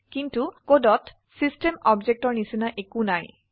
কিন্তু কোডত চিষ্টেম অবজেক্টেৰ নিচিনা একো নাই